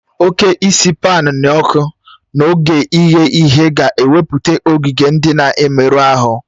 Oke isi paan n'ọkụ n'oge ighe ihe ga-ewepụta ogige ndị na-emerụ ahụ